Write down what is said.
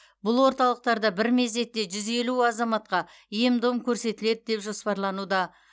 бұл орталықтарда бір мезетте жүз елу азаматқа ем дом көрсетіледі деп жоспарлануда